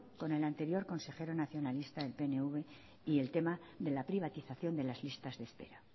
con el anterior consejero nacionalista del pnv y el tema de la privatización de las listas de espera